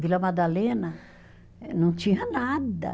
Vila Madalena eh não tinha nada.